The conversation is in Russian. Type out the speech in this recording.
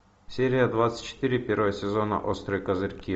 серия двадцать четыре первого сезона острые козырьки